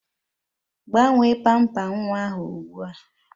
Gbanwee pamper nwa ahụ ụgbua